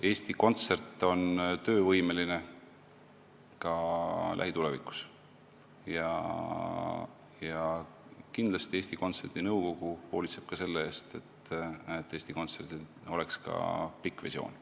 Eesti Kontsert on töövõimeline ka lähitulevikus ja kindlasti Eesti Kontserdi nõukogu hoolitseb selle eest, et Eesti Kontserdil oleks ka pikk visioon.